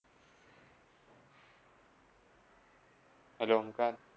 Hello Omkar